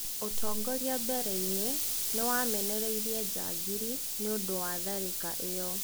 ũtongoria mbereinĩ nĩ wamenereirie "njangiri" nĩũndũ wa tharĩka ĩyo.